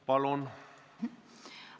Palun!